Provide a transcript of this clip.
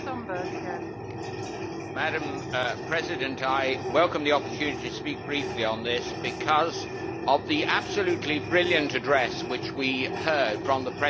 Madam President, I welcome the opportunity to speak briefly on this, because of the absolutely brilliant address that we heard from the President of the Czech Republic.